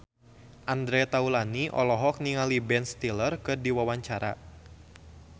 Andre Taulany olohok ningali Ben Stiller keur diwawancara